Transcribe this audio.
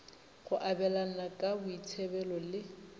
go abelana ka boitsebelo le